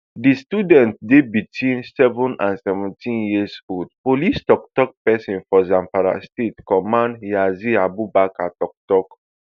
di students dey between seven and seventeen years old police tok tok pesin for zamafara state command yazid abubakar tok tok